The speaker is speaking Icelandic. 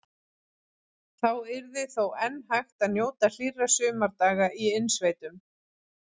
Þá yrði þó enn hægt að njóta hlýrra sumardaga í innsveitum.